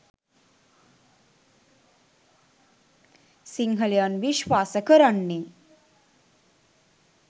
සිංහලයන් විශ්වාස කරන්නේ